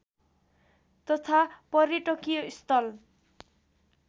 तथा पर्यटकीय स्थल